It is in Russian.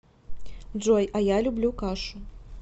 джой а я люблю кашу